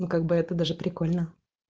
ну как бы это даже прикольно